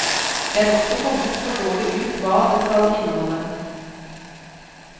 Det er også kommet for dårlig ut hva det skal inneholde.